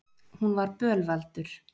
Hún var bölvaldur.